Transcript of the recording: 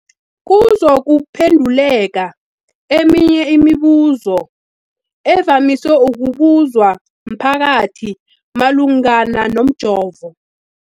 kuzokuphe nduleka eminye yemibu zo evamise ukubuzwa mphakathi malungana nomjovo.